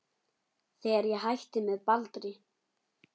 Þegar ég hætti með Baldri.